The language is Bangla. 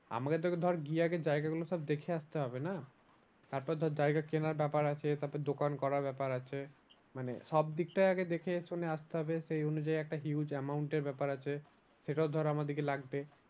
আমাকে তোকে ধর গিয়ে আগে জায়গাগুলো সব দেখে আসতে হবে না। তারপর ধর জায়গা কেনার ব্যাপার আছে তারপর দোকান করার ব্যাপার আছে মানে সব দিকটাই আগে দেখে শুনে আসতে হবে সেই অনুযায়ী একটা huge amount এর ব্যাপার আছে। সেটাও ধর আমাদেরকে লাগবে।